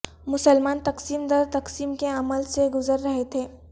مسلمان تقسیم در تقسیم کے عمل سے گزر رہے تھے